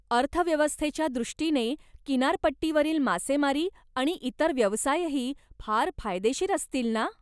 अर्थव्यवस्थेच्या दृष्टीने किनारपट्टीवरील मासेमारी आणि इतर व्यवसायही फार फायदेशीर असतील ना?